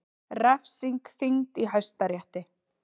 Refsing þyngd í Hæstarétti